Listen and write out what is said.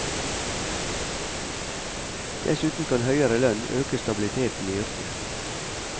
Dessuten kan høyere lønn øke stabiliteten i yrket.